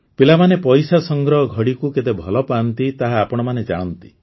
ପିଲାମାନେ ପଇସା ସଂଗ୍ରହ ଘଡ଼ିକୁ କେତେ ଭଲ ପାଆନ୍ତି ତାହା ଆପଣମାନେ ଜାଣନ୍ତି